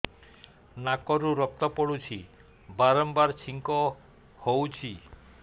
ନାକରୁ ରକ୍ତ ପଡୁଛି ବାରମ୍ବାର ଛିଙ୍କ ହଉଚି